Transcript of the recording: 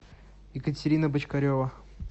екатерина бочкарева